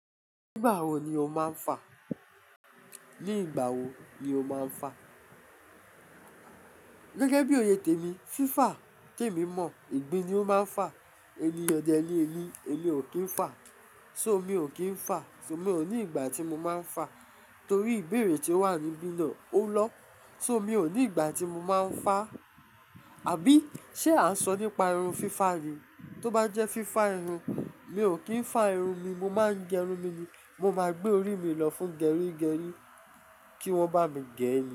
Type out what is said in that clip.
Nígbà wo ni o máa ń fà? Nígbà wo ni o máa ń fà? Gẹ́gẹ́ bí oye tèmi, fífà tèmi mọ̀, ìgbín ni ó máa ń fà, ẹni ọdẹ ni elé, elé ò kí ń fà. So mi ò kí ń fà. So mi ò ní ìgbà tí mo máa ń fà torí ìbéèrè tí ó wà níbì lọ, ó lọ̀. So mi ò ní ìgbà tí mo máa ń fà. Àbí, ṣe à ń sọ nípa irun fífà ni? Tó bá jẹ́ fífà irun, mi ò kí ń fà irun mi. Mo máa ń gẹrun mi ni. Mo máa gbé orí mi lọ fún gẹrí gẹrí kí wọ́n bá mi gé e ni.